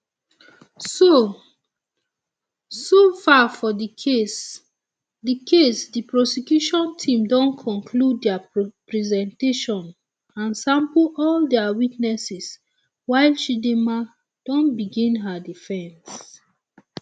so um far for di case di case di prosecution team don conclude dia presentation and sample all dia witnesses while chidinma don begin her defense um